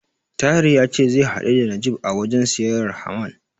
Tahir ya ce zai hadu da Najeeb a wajen siyayyar Haman.